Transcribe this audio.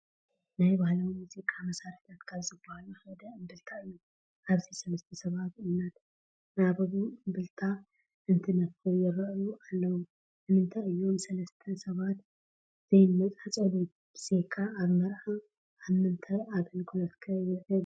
ናይ ባህላዊ ሙዚቃ መሳርሕታት ካብ ዝባሃሉ ሓደ እምብልታ እዩ፡፡ ኣብዚ 3ተ ሰባት እናተናበቡ እምብልታ እንትነፍሑ ይራኣዩ ኣለው፡፡ ንምንታይ እዮም ሰለስተ ሰባት ዘይነፃፀሉ? ብዘይካ ኣብ መርዓ ኣብ ምንታይ ኣገልግሎት ከ ይውዕል?